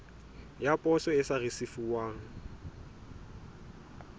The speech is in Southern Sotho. ya poso e sa risefuwang